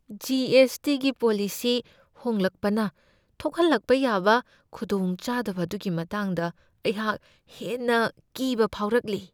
G. S. T. ꯒꯤ policy ꯍꯣꯡꯂꯛꯄꯅ ꯊꯣꯛꯍꯜꯂꯛꯄ ꯌꯥꯕ ꯈꯨꯗꯣꯡꯆꯥꯗꯕ ꯑꯗꯨꯒꯤ ꯃꯇꯥꯡꯗ ꯑꯩꯍꯥꯛ ꯍꯦꯟꯅ ꯀꯤꯕ ꯐꯥꯎꯔꯛꯂꯤ ꯫